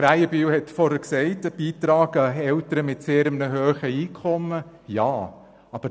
Krähenbühl hat zuvor von den Beiträgen von Eltern mit sehr hohen Einkommen gesprochen.